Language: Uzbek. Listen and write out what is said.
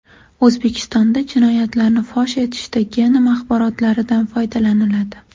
O‘zbekistonda jinoyatlarni fosh etishda genom axborotlaridan foydalaniladi.